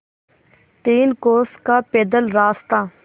तीन कोस का पैदल रास्ता